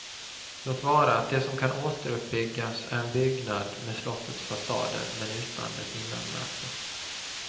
Låt vara att det som kan återuppbyggas är en byggnad med slottets fasader men utan dess innanmäte.